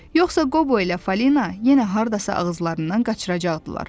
Yoxsa Qobo ilə Falina yenə hardasa ağızlarından qaçıracaqdılar.